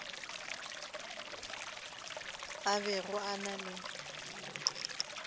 a bego a na le